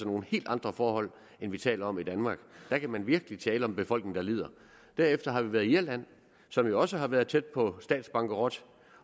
nogle helt andre forhold end vi taler om i danmark der kan man virkelig tale om en befolkning der lider derefter har vi været i irland som jo også har været tæt på statsbankerot